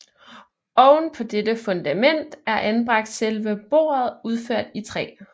Oven på dette fundament er anbragt selve bordet udført i træ